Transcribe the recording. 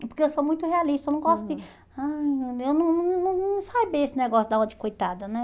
Porque eu sou muito realista, eu não gosto de... eu não não Não não faz bem esse negócio de dar uma de coitada, né?